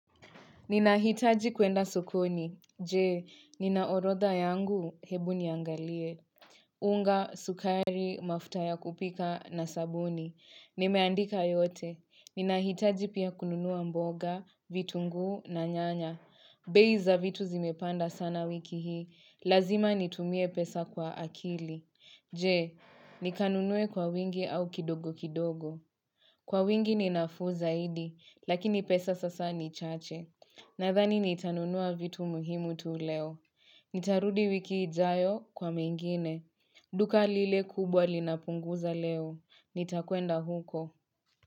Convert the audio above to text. Ninahitaji kuenda sokoni. Je, nina orodha yangu hebu niangalie. Unga, sukari, mafuta ya kupika na sabuni. Nimeandika yote. Ninahitaji pia kununua mboga, vitungu na nyanya. Bei za vitu zimepanda sana wiki hii. Lazima nitumie pesa kwa akili. Jee, nikanunue kwa wingi au kidogo kidogo. Kwa wingi ni nafuu zaidi, lakini pesa sasa ni chache. Nadhani nitanunua vitu muhimu tu leo. Nitarudi wiki ijayo kwa mengine. Duka lile kubwa linapunguza leo. Nitakwenda huko.